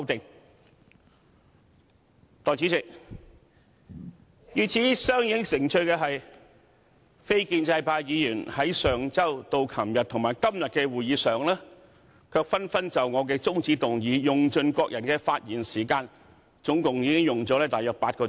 代理主席，與此相映成趣的是，非建制派議員在上周至昨天及今天的會議上，卻紛紛就我的中止待續議案，用盡各人的發言時間，總共用了大約8小時。